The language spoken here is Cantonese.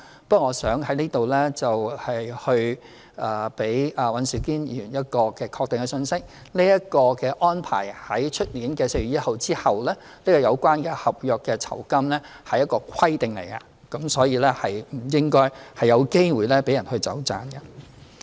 不過，我想在此給予尹兆堅議員一個確定的信息：明年4月1日後，這個有關合約酬金的安排將會是一項規定，所以應該不會讓人有"走盞"的空間。